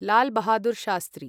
Lal Bahadur Shastri